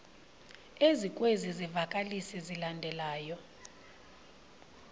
ezikwezi zivakalisi zilandelayo